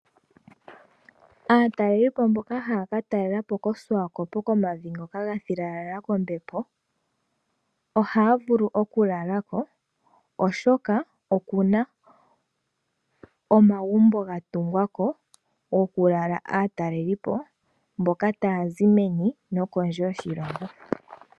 Aatalelipo mboka haya katalela po koShiwakopo komavi ngoka ga filala po kombepo ohaya vulu okulala ko oshoka okuna omagumbo ga tungwa ko goku lala aatalelipo mboka taya zi meni nokondje yoshilongo.